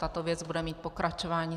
Tato věc bude mít pokračování.